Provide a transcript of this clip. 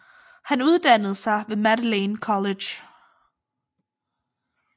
Han uddannede sig ved Magdalene College